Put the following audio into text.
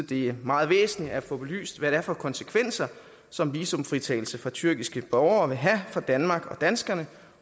det er meget væsentligt at få belyst hvad det er for konsekvenser som visumfritagelse for tyrkiske borgere vil have for danmark og danskerne